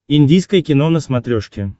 индийское кино на смотрешке